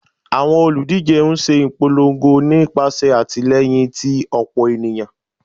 Awọn oludije n ṣe ipolongo nipasẹ atilẹyin ti ọpọ eniyan